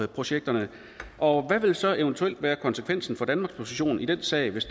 projekterne og hvad vil så eventuelt være konsekvensen for danmarks position i den sag hvis